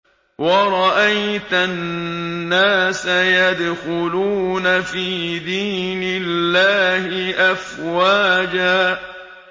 وَرَأَيْتَ النَّاسَ يَدْخُلُونَ فِي دِينِ اللَّهِ أَفْوَاجًا